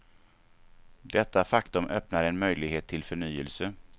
Detta faktum öppnar en möjlighet till förnyelse.